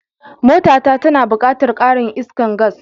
Mota ta tana buƙatar karin iskar gas.